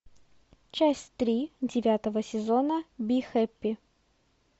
часть три девятого сезона би хэппи